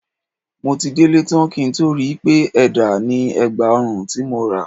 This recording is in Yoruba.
Mo ti délé tán kí n tó rí i pé ẹ̀dà ni ẹ̀gbà ọrùn tí mo rà